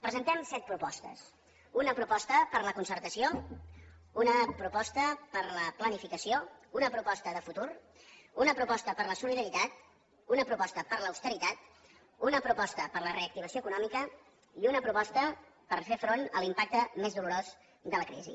presentem set propostes una proposta per la concertació una proposta per la planificació una proposta de futur una proposta per la solidaritat una proposta per l’austeritat una proposta per la reactivació econòmica i una proposta per fer front a l’impacte més dolorós de la crisi